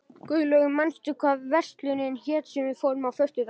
Guðlaug, manstu hvað verslunin hét sem við fórum í á föstudaginn?